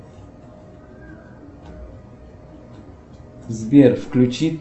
сбер включи